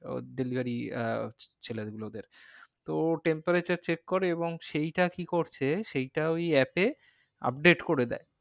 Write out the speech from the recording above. ওর delivery আহ ছেলে গুলোদের তো temperature check করে এবং সেইটা কি করছে সেইটা ওই app এ update করে দেয়।